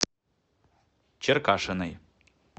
черкашиной